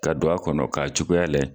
Ka don a kɔnɔ , ka cogoya lajɛ